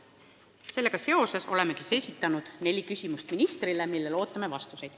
Sellega seoses olemegi esitanud ministrile neli küsimust, millele ootame vastuseid.